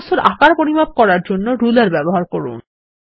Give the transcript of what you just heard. বস্তুর আকার পরিমাপ করার জন্যে রুলার ব্যবহার করুন